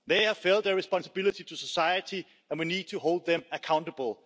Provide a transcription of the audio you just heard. They have failed their responsibility to society, and we need to hold them accountable.